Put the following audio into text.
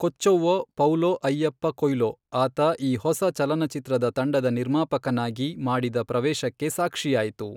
Kochavva Paulo Ayyappa Coelho ಆತ ಈ ಹೊಸ ಚಲನಚಿತ್ರದ ತಂಡದ ನಿರ್ಮಾಪಕನಾಗಿ ಮಾಡಿದ ಪ್ರವೇಶಕ್ಕೆ ಸಾಕ್ಷಿಯಾಯಿತು.